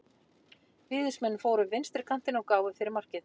Víðismenn fóru upp vinstri kantinn og gáfu fyrir markið.